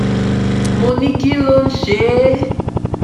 mo ní kí ló ń ṣe é